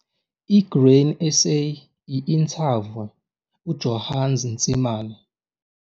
I-Grain SA i-inthavywe, uJohannes Ntsimane